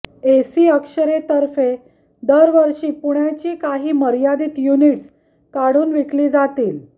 ऐसी अक्षरे तर्फे दर वर्षी पुण्याची काही मर्यादित युनिट्स काढून विकली जातील